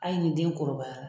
Ayi ni den kɔrɔbaya la.